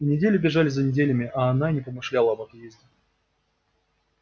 и недели бежали за неделями а она и не помышляла об отъезде